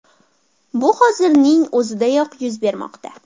Bu hozirning o‘zidayoq yuz bermoqda.